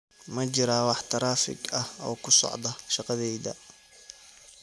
Ma jiraa wax taraafig ah oo ku socda shaqadayda?